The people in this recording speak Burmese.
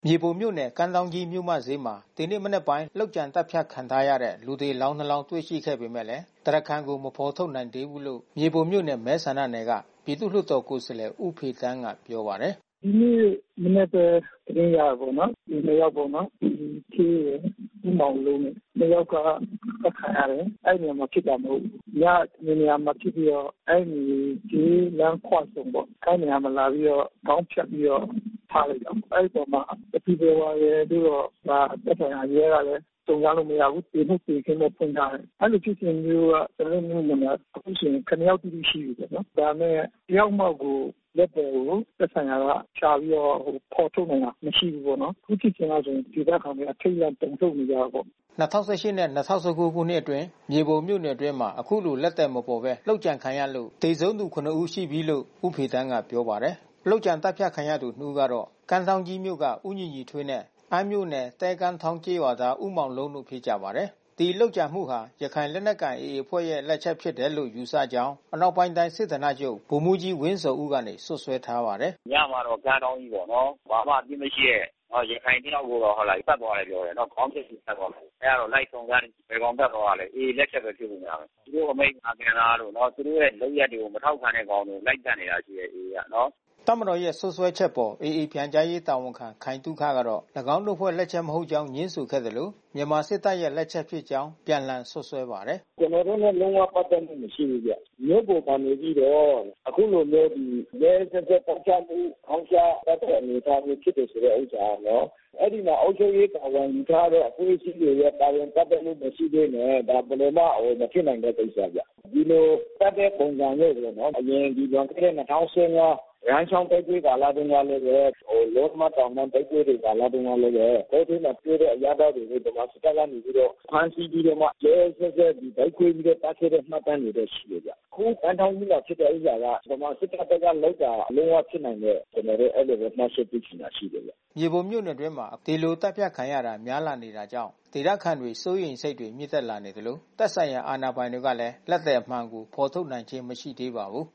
မြေပုံမြို့နယ် ကမ်းထောင်းကြီးမြို့မဈေးကြီးမှာ ဒီနေ့မနက်ပိုင်း လုပ်ကြံသတ်ဖြတ် ခံထားရတဲ့ လူသေအလောင်း နှစ် လောင်း တွေ့ရှိခဲ့ပေမဲ့ တရားခံကို မဖေါ်ထုတ်နိုင်သေးဘူးလို့ မြေပုံမြို့နယ်မဲ ဆန္ဒနယ်က ပြည်သူ့လွှတ်တော်ကိုယ်စားလှယ် ဦးဖေသန်းက ပြောပါတယ်။ “ဒီနေ့မနက်ပဲ သတင်းရတယ်ပေါ့နော်။ လူနှစ်ယောက်ပေါ့နော် ကိုညီထွေးရယ် ဦးမောင်လုံးရယ်။ နှစ်ယောက်က အသတ်ခံရတယ်။ အဲဒီနေရာမှာဖြစ်တာ မဟုတ်ဘူး။ ညတနေရာမှာ ဖြစ်ပြီးတော့ အဲဒီဈေးလမ်းခွဆုံပေါ့။ အဲဒီနေရာလာပြီးတော့ ခေါင်းဖြတ်ပြီးတော့ ထားတယ်ပေါ့။ အဲဒီအပေါ်မှာ ဘယ်သူဘယ်ဝါလို့တော့ သက်ဆိုင်ရာ ရဲကလည်း စုံစမ်းလို့ မရဘူး။ သေမှုသေခင်းတော့ ဖွင့်ထားတယ်။ အဲဒီလိုဖြစ်စဉ်မျိုးတော့ ကျနော်တို့မြို့နယ်မှာ အခုဆိုရင် ၇ ယောက် တိတိ ရှိပြီးပေါ့နော်။ ဒါပေမဲ့ တယောက်မှကို လက်သည်ကို သက်ဆိုင်ရာက ရှာပြီးတော့ ဖေါ်ထုတ်နိုင်တာ မရှိဘူးပေါ့နော်။ အခုဖြစ်စဉ်ကဆိုရင် ဒေသခံတွေ အထိတ်တလန့် တုန်လှုပ်နေကြတာပေါ့။” ၂၀၁၈နဲ့ ၂၀၁၉ ခုနှစ်အတွင်း မြေပုံမြို့နယ်အတွင်း အခုလို လက်သည်မပေါ်ပဲ လုပ်ကြံခံရလို့ သေဆုံးသူ ၇ ဦး ရှိပြီလို့ ဦးဖေသန်းက ပြောပါတယ်။ လုပ်ကြံသတ်ဖြတ်ခံရသူ နှစ်ဦးကတော့ ကမ်းထောင်းကြီးမြို့က ဦးညီညီထွေးနဲ့ အမ်းမြို့နယ် သဲကမ်းထောင်း ကျေးရွာသား ဦးမောင်လုံးတို့ ဖြစ်ကြပါတယ်။ ဒီလုပ်ကြံမှုဟာ ရခိုင်လက်နက်ကိုင် AA အဖွဲ့လက်ချက်ဖြစ်တယ်လို့ ယူဆကြောင်း အနောက်ပိုင်းတိုင်း စစ်ဌာနချုပ် ဗိုလ်မှူးကြီးဝင်းဇော်ဦးကနေ စွပ်စွဲထားပါတယ်။ “ညတုန်းကတော့ ကမ်းထောင်းကြီးပေါ့နော်။ ဘာမှမပစ်မရှိတဲ့ ရခိုင် နှစ်ယောက်ကိုတောင် သတ်သွားတယ်လို့ ပြောတယ်။ ခေါင်းဖြတ်သွားတယ်။ အဲဒါ လိုက်စုံစမ်းနေတယ်။ AA လက်ချက်ဖြစ်ဖို့ များတယ်။ သူတို့ အမိန့်မနာခံတာတို့ သူတို့ လုပ်ရပ်ကို မထောက်ခံတဲ့ကောင်တို့ လိုက်သတ်နေတာချည်းပဲ AA ကနော်။” တပ်မတော်ရဲ့ စွပ်စွဲချက်အပေါ် AA ပြန်ကြားရေး တာဝန်ခံခိုင်သုခကတော့ ၎င်းတို့အဖွဲ့ လက်ချက် မဟုတ်ကြောင်း ငြင်းဆိုခဲ့သလို မြန်မာစစ်တပ်ရဲ့ လက်ချက်ဖြစ်ကြောင်း အပြန်အလှန် စွပ်စွဲပါတယ်။ “ကျနော်တို့နဲ့ လုံးဝပတ်သက်မှု မရှိဘူးဗျ။ မြို့ပေါ်မှာ နေပြီးတော့ အခုလိုမျိုးဒီ ရက်ရက်စက်စက် သတ်ဖြတ်မှု။ ခေါင်းဖြတ်သတ်တဲ့ အနေအထားမျိုး ဖြစ်တယ်ဆိုတဲ့ ဥစ္စာကတော့ အဲဒီမှာ အုပ်ချုပ်ရေး တာဝန်ယူထားတဲ့ အဖွဲ့အစည်းတွေရဲ့ ပါဝင်ပတ်သက်မှု မရှိဘဲနဲ့ ဘယ်လိုမှ မဖြစ်နိုင်တဲ့ ကိစ္စဗျ။ ဒီလိုသတ်တဲ့ ပုံစံပေါ့နော်။ အရင်လွန်ခဲ့တဲ့ ၂၀၁၅ ရန်းချောင်း တိုက်ပွဲ ကာလတုန်းကလည်းပဲ ဟိုတလောက တိုက်ပွဲကာလတုန်းကလည်းပဲ တောထဲမှာတွေ့တဲ့ အရပ်သားတွေကို ဗမာ စစ်တပ်ကနေပြီးတော့မှ ဖမ်းဆီးပြီးတော့ ရက်ရက်စက်စက် ဗိုက်ခွဲပြီးတော့သတ်တဲ့ မှတ်တမ်းတွေတော့ ရှိတယ်။ အခု ကမ်းထောင်းကြီးမှာ ဖြစ်တဲ့ဥစ္စာက ဗမာစစ်တပ်ဘက်က လုပ်တာ လုံးဝဖြစ်နိုင်တဲ့ ကျနော်တို့ အဲဒီလိုပဲ မှတ်ချက်ပြုချင်တာ ရှိတယ်ဗျ။” မြေပုံမြို့နယ်အတွင်းမှာ ဒီလိုသတ်ဖြတ်ခံရတာ များလာနေတာကြောင့် ဒေသခံတွေ စိုးရိမ်စိတ်တွေ မြင့်တက်လာနေသလို သက်ဆိုင်ရာ အာဏာပိုင်တွေကလည်း လက်သည်အမှန်ကို ဖေါ်ထုတ်နိုင်ခြင်း မရှိသေးပါဘူး